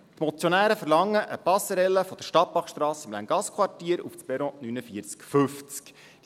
Die Motionäre verlangen eine Passerelle von der Stadtbachstrasse im Länggassquartier auf das Perron 49/50.